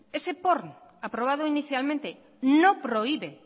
ese porn aprobado inicialmente no prohíbe